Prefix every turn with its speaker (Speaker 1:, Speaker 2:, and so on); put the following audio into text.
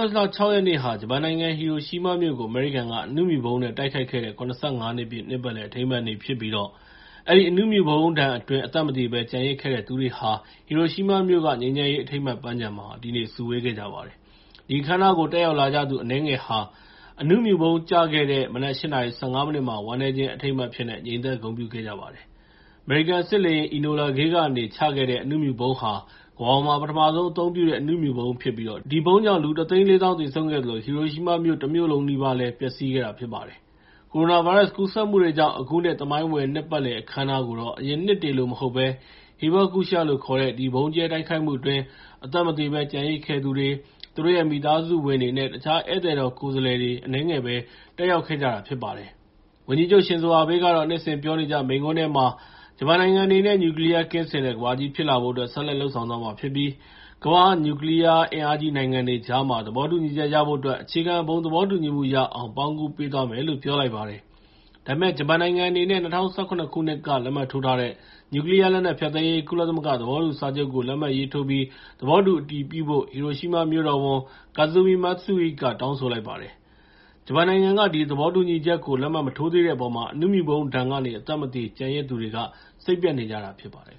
Speaker 1: တ်လ ၆ ရက်နေ့ဟာ ဂျပန်နိုင်ငံ ဟီရိုရှီးမားမြို့ကို အမေရိကန်က အနုမြူဗုံးနဲ့ တိုက်ခိုက်ခဲ့တဲ့ ၇၅ နှစ် ပြည့် နှစ်ပတ်လည်အထိမ်းအမှတ်နေ့ဖြစ်ပြီး အဲဒီ အနုမြူဗုံးဒဏ်အတွင်း အသက်မသေဘဲ ကျန်ရစ်ခဲ့တဲ့သူတွေဟာ ဟီရိုရှီးမားမြို့မှာက ငြိမ်းချမ်းရေးအထိမ်းအမှတ်ပန်းခြံမှာ ဒီနေ့စုဝေးခဲ့ကြပါတယ်။ ဒီအခမ်းအနားကို တက်ရောက်လာကြသူ အနည်းငယ်ဟာ အနုမြူဗုံးကျခဲ့တဲ့ မနက် ၈ နာရီ ၁၅ မိနစ်မှာ ဝမ်းနည်းခြင်းအထိမ်းအမှတ် အဖြစ်နဲ့ ငြိမ်သက်ဂုဏ်ပြုခဲ့ကြပါတယ်။ အမေရိကန်စစ်လေယာဉ် Enola Gay ကနေ ချခဲ့တဲ့ အနုမြူဗုံးဟာ ကမ္ဘာပေါ်မှာ ပထမဆုံး အသုံးပြုတဲ့ အနုမြူဗုံးဖြစ်ပြီး ဒီဗုံးကြောင့် လူ ၁၄၀,၀၀၀ သေဆုံးခဲ့သလို ဟီရိုရှီးမားတမြို့လုံးနီးပါးလည်း ပျက်စီးခဲ့တာဖြစ်ပါတယ်။ ကိုရိုနာဗိုင်းရပ်စ်ကူးစက်မှုတွေကြောင့် အခုနှစ် သမိုင်းဝင်နှစ်ပတ်လည် အခမ်းအနားကိုတော့ အရင်နှစ်တွေလို မဟုတ်ဘဲ Hibakusha လို့ခေါ်တဲ့ ဒီဗုံးကြဲ တိုက်ခိုက်မှုအတွင်း အသက်မသေဘဲ ကျန်ရစ်ခဲ့တဲ့သူတွေ၊ သူတို့ရဲ့မိသားစုဝင်တွေနဲ့ တခြား ဧည့်သည်တော်ကိုယ်စားလှယ် အနည်းငယ်ပဲ တက်ရောက်ခဲ့တာဖြစ်ပါတယ်။ ဝန်ကြီးချုပ် ရှင်ဇိုအာဘေးကတော့ နှစ်စဉ်ပြောနေကျမိန့်ခွန်းထဲမှာ ဂျပန်နိုင်ငံအနေနဲ့ နျူကလီးယားကင်းစင်တဲ့ ကမ္ဘာကြီးဖြစ်လာဖို့အတွက် ဆက်လက်လုပ်ဆောင်သွားမှာဖြစ်ပြီး ကမ္ဘာ့ နျူကလီးယား အင်အားကြီးနိုင်ငံတွေကြားမှာ သဘောတူညီချက်ရဖို့အတွက် အခြေခံ ဘုံသဘောတူညီမှုရအောင် ပေါင်းကူးပေးသွားမယ်လို့ ပြောလိုက်ပါတယ်။ ဒါပေမဲ့ ဂျပန်နိုင်ငံအနေနဲ့ ၂၀၁၇ ခုနှစ်က လက်မှတ်ထိုးထားတဲ့ နျူကလီးယား လက်နက်ဖျက်သိမ်းရေး ကုလသမဂ္ဂသဘောတူစာချုပ်ကို လက်မှတ်ရေးထိုးပြီး သဘောတူအတည်ပြုဖို့ ဟီရိုရှီးမားမြို့တော်ဝန် Kazumi Matsui က တောင်းဆိုလိုက်ပါတယ်။ ဂျပန်နိုင်ငံက ဒီသဘောတူညီချက်ကို လက်မှတ်မထိုးသေးတဲ့အပေါ်မှာ အနုမြူဗုံးဒဏ်ကနေ အသက်မသေ ကျန်ရစ်သူတွေက စိတ်ပျက်နေကြတာဖြစ်ပါတယ်